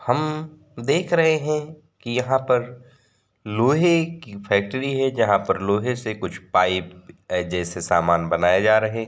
हम देख रहै है की यहां पर लोहै की फैक्ट्री है जहां पे लोहै से कुछ पाइप है जैसे समान बनाए जा रहै है।